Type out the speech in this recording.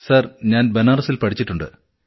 sir ഞാൻ ബനാറസിൽ പഠിച്ചിട്ടുണ്ട്